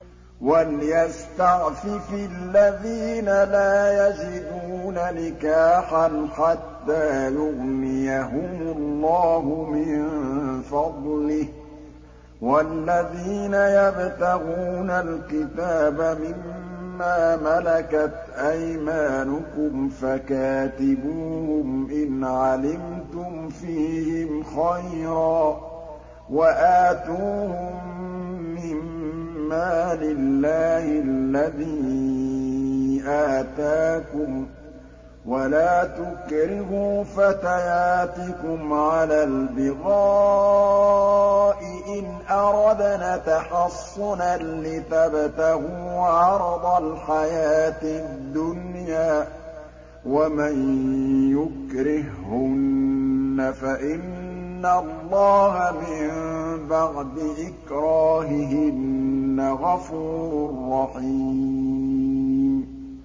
وَلْيَسْتَعْفِفِ الَّذِينَ لَا يَجِدُونَ نِكَاحًا حَتَّىٰ يُغْنِيَهُمُ اللَّهُ مِن فَضْلِهِ ۗ وَالَّذِينَ يَبْتَغُونَ الْكِتَابَ مِمَّا مَلَكَتْ أَيْمَانُكُمْ فَكَاتِبُوهُمْ إِنْ عَلِمْتُمْ فِيهِمْ خَيْرًا ۖ وَآتُوهُم مِّن مَّالِ اللَّهِ الَّذِي آتَاكُمْ ۚ وَلَا تُكْرِهُوا فَتَيَاتِكُمْ عَلَى الْبِغَاءِ إِنْ أَرَدْنَ تَحَصُّنًا لِّتَبْتَغُوا عَرَضَ الْحَيَاةِ الدُّنْيَا ۚ وَمَن يُكْرِههُّنَّ فَإِنَّ اللَّهَ مِن بَعْدِ إِكْرَاهِهِنَّ غَفُورٌ رَّحِيمٌ